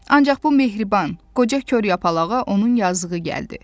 Ancaq bu mehriban, qoca kor yapalağa onun yazığı gəldi.